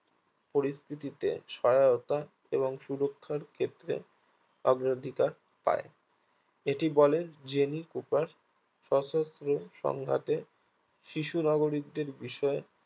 পরিস্থিতিতে সহায়তা এবং সুরক্ষার ক্ষেত্রে আগ্রো অধিকার পায় এটি বলে জে নি পোপার স্বসস্ত্র সংজ্ঞাতে শিশুনাগরিক দের বিষয়ে